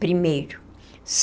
Primeiro.